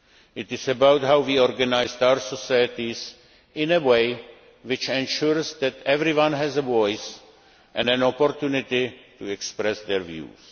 It is about how we organise our societies in a way which ensures that everyone has a voice and an opportunity to express their views.